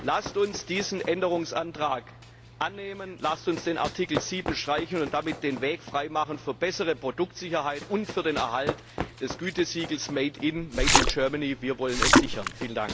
Lasst uns diesen Änderungsantrag annehmen, lasst uns den Artikel 7 streichen und damit den Weg frei machen für bessere Produktsicherheit und für den Erhalt des Gütesiegels Made in Made in Germany wir wollen es sichern!